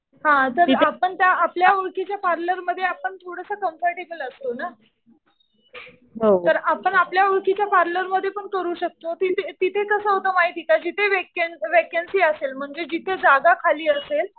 हा तर आपण त्या आपल्या ओळखीच्या पार्लरमध्ये आपण थोडंसं कम्फर्टेबल असतो ना. तर आपण आपल्या ओळखीच्या पार्लरमध्ये पण करू शकतो. तिथे कसं होतं माहितीये का जिथे वॅकन्सी असेल म्हणजे जिथे जागा खाली असेल